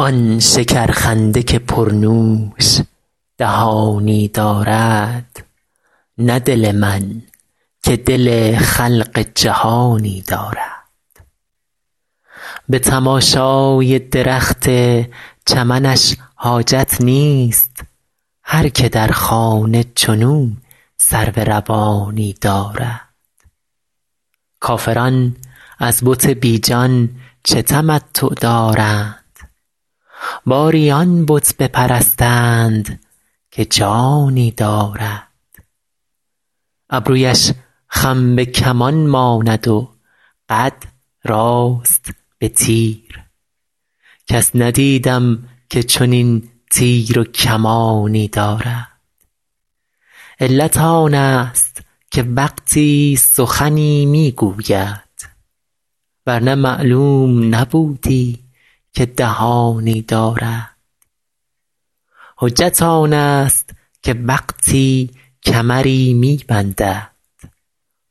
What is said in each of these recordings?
آن شکرخنده که پرنوش دهانی دارد نه دل من که دل خلق جهانی دارد به تماشای درخت چمنش حاجت نیست هر که در خانه چنو سرو روانی دارد کافران از بت بی جان چه تمتع دارند باری آن بت بپرستند که جانی دارد ابرویش خم به کمان ماند و قد راست به تیر کس ندیدم که چنین تیر و کمانی دارد علت آنست که وقتی سخنی می گوید ور نه معلوم نبودی که دهانی دارد حجت آنست که وقتی کمری می بندد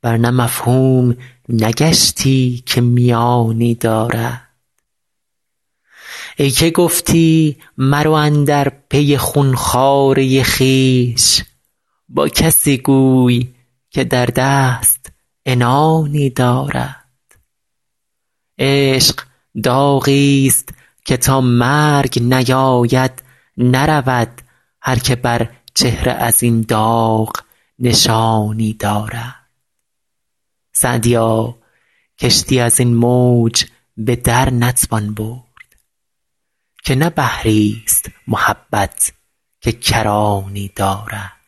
ور نه مفهوم نگشتی که میانی دارد ای که گفتی مرو اندر پی خون خواره خویش با کسی گوی که در دست عنانی دارد عشق داغیست که تا مرگ نیاید نرود هر که بر چهره از این داغ نشانی دارد سعدیا کشتی از این موج به در نتوان برد که نه بحریست محبت که کرانی دارد